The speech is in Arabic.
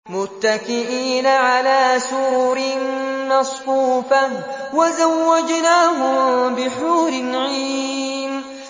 مُتَّكِئِينَ عَلَىٰ سُرُرٍ مَّصْفُوفَةٍ ۖ وَزَوَّجْنَاهُم بِحُورٍ عِينٍ